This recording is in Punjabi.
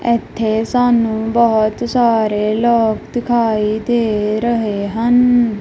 ਇਥੇ ਸਾਨੂੰ ਬਹੁਤ ਸਾਰੇ ਲੋਕ ਦਿਖਾਈ ਦੇ ਰਹੇ ਹਨ।